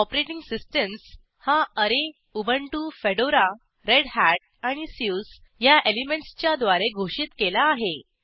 Operating systems हा ऍरे Ubuntu Fedora Red Hat आणि सुसे ह्या एलिमेंटसच्या द्वारे घोषित केला आहे